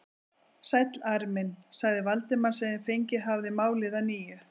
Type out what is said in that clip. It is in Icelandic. Sæll, Ari minn sagði Valdimar sem fengið hafði málið að nýju.